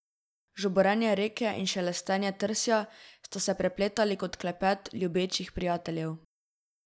Žuborenje reke in šelestenje trsja sta se prepletali kot klepet ljubečih prijateljev.